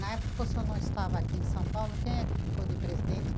Na época que o senhor não estava aqui em São Paulo, quem é que ficou de presidente?